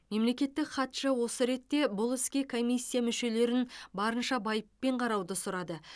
мемлекеттік хатшы осы ретте бұл іске комиссия мүшелерін барынша байыппен қарауды сұрады